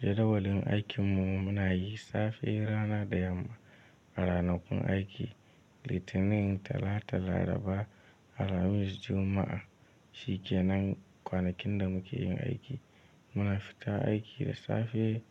Jadawalin aikinmu muna yi safe rana da yamma. A ranakun aiki Litinin, Talata, Laraba, Alhamis, Juma'a shi ke nan, kwanakin da muke yin aiki. Muna fita aiki da safe